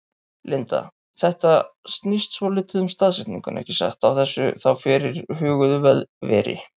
Linda: Þetta snýst svolítið um staðsetninguna ekki satt, á þessu þá fyrirhuguðu veri?